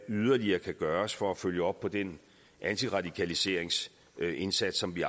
yderligere kan gøres for at følge op på den antiradikaliseringsindsats som vi